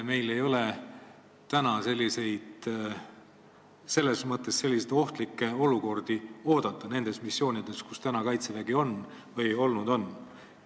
Meil ei ole selles mõttes ohtlikke olukordi nendes missioonides, kus Kaitsevägi olnud on ja praegu on, alust oodata.